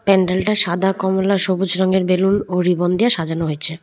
প্যান্ডেল -টা সাদা কমলা সবুজ রঙের বেলুন ও রিবন দিয়ে সাজানো হয়েছে।